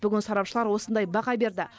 бүгін сарапшылар осындай баға берді